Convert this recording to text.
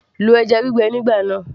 lo dried fish nígbà náà